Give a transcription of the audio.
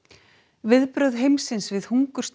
viðbrögð heimsins við hungursneyð